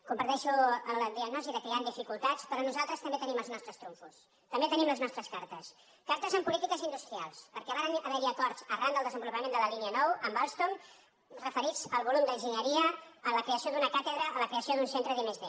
comparteixo la diagnosi que hi han dificultats però nosaltres també tenim els nostres trumfos també tenim les nostres cartes cartes en polítiques industrials perquè hi varen haver acords arran del desenvolupament de la línia nou amb alstom referits al volum d’enginyeria a la creació d’una càtedra a la creació d’un centre d’i+d